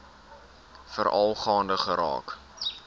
veral gaande geraak